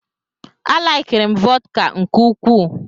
A laikiri m vọdka nke ukwuu.